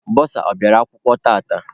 Bọsa ọ bịara akwụkwọ tata?